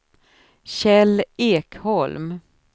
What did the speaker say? Kjell Ekholm